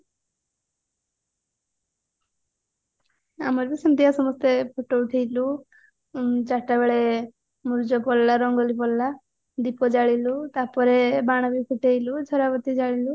ଆମର ବି ସେମତିଆ ସମସ୍ତେ photo ଉଠେଇଲୁ ଚାରିଟା ବେଳେ ମୁର୍ଜ ପଡିଲା ରଙ୍ଗୋଲି ପଡିଲା ଦୀପ ଜାଲିଲୁ ତାପରେ ବାଣ ବି ଫୁଟେଇଲୁ ଝରା ବତୀ ଜାଲିଲୁ